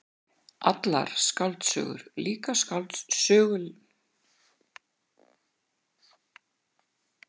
Allar skáldsögur, líka sögulegar skáldsögur, eru börn síns tíma.